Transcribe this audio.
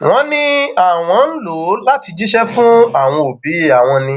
wọn ní àwọn ń lò láti jíṣẹ fún àwọn òbí àwọn ni